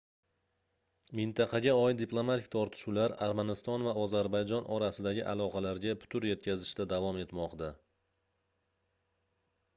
mintaqaga oid diplomatik tortishuvlar armaniston va ozarbayjon orasidagi aloqalarga putur yetkazishda davom etmoqda